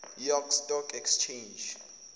york stock exchange